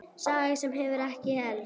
Saga sem hefur ekki elst.